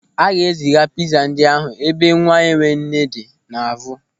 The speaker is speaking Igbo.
A ga-eziga pịza ndị a n'ebe nwaenwenne dị n'Avụ.